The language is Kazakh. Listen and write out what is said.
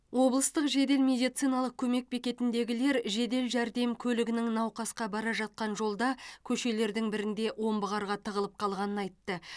облыстық жедел медициналық көмек бекетіндегілер жедел жәрдем көлігінің науқасқа бара жатқан жолда көшелердің бірінде омбы қарға тығылып қалғанын айтты